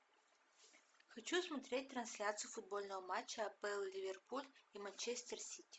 хочу смотреть трансляцию футбольного матча апл ливерпуль и манчестер сити